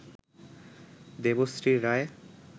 Debashree Roy